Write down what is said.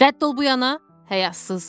Rədd ol bu yana, həyasız!